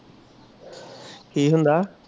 ਕਿ ਹੁੰਦਾ